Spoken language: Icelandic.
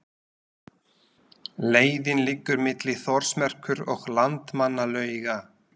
Leiðin liggur milli Þórsmerkur og Landmannalauga.